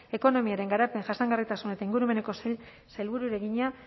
ekonomiaren garapen jasangarritasun eta ingurumeneko sailburuari egina